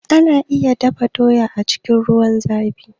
Ana iya dafa doya cikin ruwan zafi